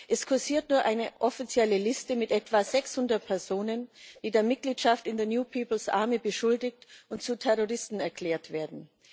Es kursiert nur eine offizielle Liste mit etwa 600 Personen, die der Mitgliedschaft in der New Peoples Army beschuldigt und zu Terroristen erklärt werden.